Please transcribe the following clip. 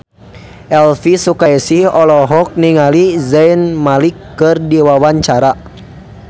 Elvi Sukaesih olohok ningali Zayn Malik keur diwawancara